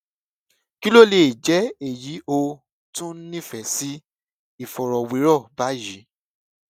kí ló lè jẹ èyí ó tún nífẹẹ sí ìfọrọwérọ báyìí